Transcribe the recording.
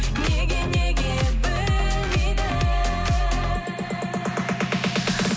неге неге білмейді